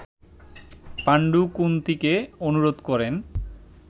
পাণ্ডু কুন্তিকে অনুরোধ করেন